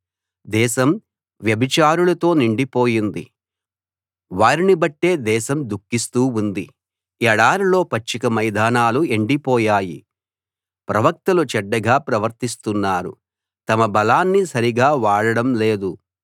దేశం వ్యభిచారులతో నిండిపోయింది వారిని బట్టే దేశం దుఃఖిస్తూ ఉంది ఎడారిలో పచ్చిక మైదానాలు ఎండిపోయాయి ప్రవక్తలు చెడ్డగా ప్రవర్తిస్తున్నారు తమ బలాన్ని సరిగా వాడడం లేదు